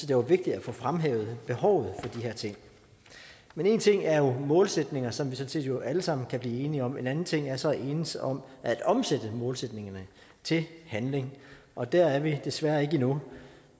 det var vigtigt at få fremhævet behovet for de her ting men en ting er jo målsætninger som vi sådan set jo alle sammen kan blive enige om en anden ting er så at enes om at omsætte målsætningerne til handling og der er vi desværre ikke endnu